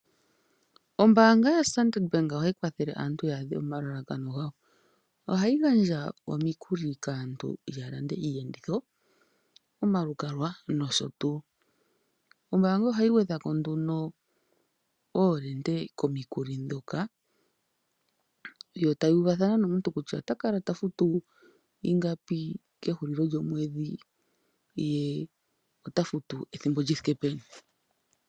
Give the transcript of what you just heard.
Ombanga yo Standard Bank ohayi kwathele aantu yadhe omalalakano ngawo, ohayi gandja omikuli kaantu yalande iyenditho , omalukalwa nosho tu, ombanga ohayi ngwedhako nduno ovende komikuli dhoka yo tayuvathana nomuntu kutya ota kala tafutu ingapi kehulilo lyomwedhi ye ota futu ethimbo lyithike peni.